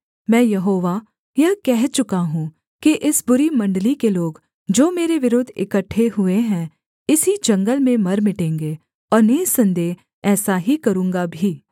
मैं यहोवा यह कह चुका हूँ कि इस बुरी मण्डली के लोग जो मेरे विरुद्ध इकट्ठे हुए हैं इसी जंगल में मर मिटेंगे और निःसन्देह ऐसा ही करूँगा भी